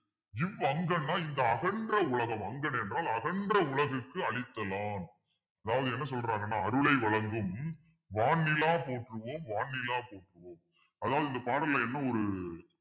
இவ்வங்கன்னா இந்த அகன்ற உலகம் வங்கண் என்றால் அகன்ற உலகுக்கு அளித்தலான் அதாவது என்ன சொல்றாங்கன்னா அருளை வழங்கும் வான்நிலா போற்றுவோம் வான்நிலா போற்றுவோம் அதாவது இந்த பாடல்ல என்ன ஒரு